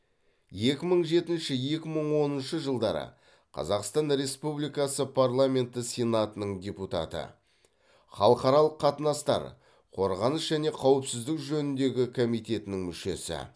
екі мың жетінші екі мың оныншы жылдары қазақстан республикасы парламенті сенатының депутаты халықаралық қатынастар қорғаныс және қауіпсіздік жөніндегі комитетінің мүшесі